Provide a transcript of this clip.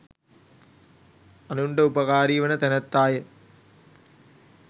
අනුන්ට උපකාරීවන තැනැත්තාය.